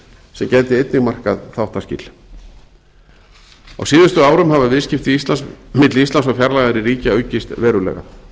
sem gæti einnig markað þáttaskil á síðustu árum hafa viðskipti milli íslands og fjarlægari ríkja aukist verulega